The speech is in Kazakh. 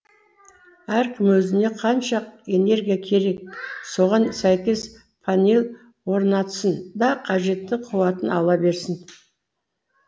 әркім өзіне қанша энергия керек соған сәйкес панель орнатсын да қажетті қуатын ала берсін